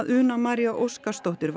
Una María Óskarsdóttir